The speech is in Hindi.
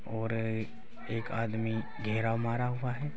और एक आदमी घेरा मारा हुआ है।